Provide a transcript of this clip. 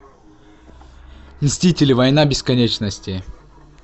мстители война бесконечности